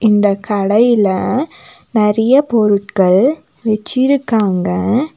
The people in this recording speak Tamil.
இந்த கடையில நெறைய பொருட்கள் வச்சிருக்காங்க.